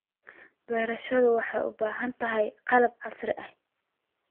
Beerashadu waxay u baahan tahay qalab casri ah.